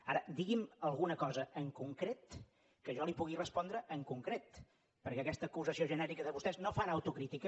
ara digui’m alguna cosa en concret que jo li pugui respondre en concret perquè aquesta acusació genèrica de vostès no fan autocrítica